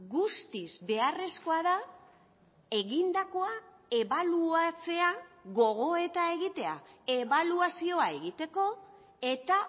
guztiz beharrezkoa da egindakoa ebaluatzea gogoeta egitea ebaluazioa egiteko eta